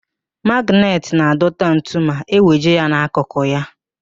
Magịnetị na-adọta ntu ma eweje ya n'akụkụ ya.